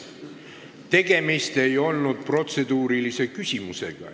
Tegemist ei olnud protseduurilise küsimusega.